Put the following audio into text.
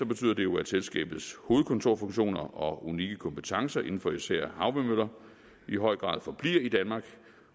betyder det jo at selskabets hovedkontorfunktioner og unikke kompetencer inden for især havvindmøller i høj grad forbliver i danmark